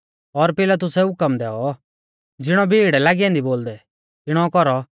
और पिलातुसै हुकम दैऔ ज़िणौ भीड़ लागी ऐन्दी बोलदै तिणौ कौरौ